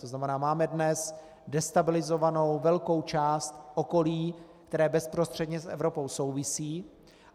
To znamená, máme dnes destabilizovanou velkou část okolí, které bezprostředně s Evropou souvisí.